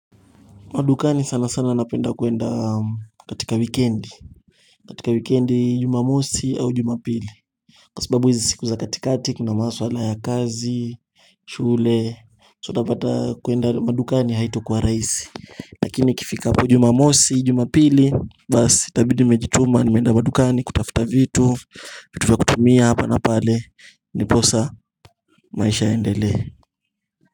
Madukani sana sana napenda kuenda katika wikendi katika wikendi jumamosi au jumapili Kwa sababu hizi siku za katikati kuna maswala ya kazi, shule, so utapata kuenda madukani haitakuwa rahisi Lakini ikifika po jumamosi jumapili basi itabidi nimejituma nimeenda madukani kutafuta vitu vitu vitu vya kutumia hapa na pale ndiposa maisha iendelee.